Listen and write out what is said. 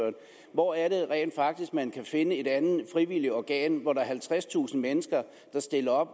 hvor er det rent faktisk man kan finde et andet frivilligt organ hvor der er halvtredstusind mennesker der stiller